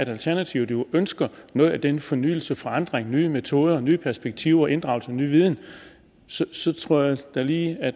alternativet ønsker noget af den fornyelse forandring nye metoder nye perspektiver og inddragelse af ny viden tror jeg da lige